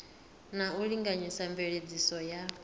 na u linganyisa mveledziso ya